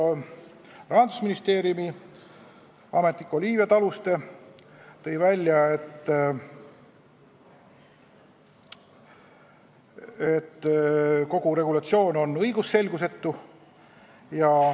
Rahandusministeeriumi ametnik Olivia Taluste tõi välja, et kogu regulatsioon on õigusselgusetu.